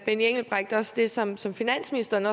benny engelbrecht også det som som finansministeren